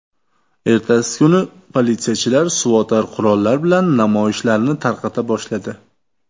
Ertasi kuni politsiyachilar suvotar qurollar bilan namoyishlarni tarqata boshladi.